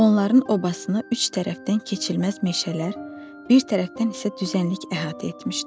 Onların obasını üç tərəfdən keçilməz meşələr, bir tərəfdən isə düzənlik əhatə etmişdi.